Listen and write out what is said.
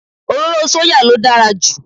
Òróró sóyà ló dára jù